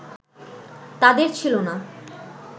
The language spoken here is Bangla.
তাঁদের ছিল না